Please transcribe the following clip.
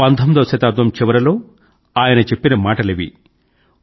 19వ శతాబ్దం చివరలో ఆయన చెప్పిన మాటలివి